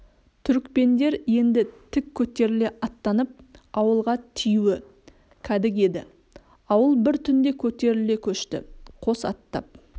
түрікпендер енді тік көтеріле аттанып ауылға тиюі кәдік еді ауыл бір түнде көтеріле көшті қос аттап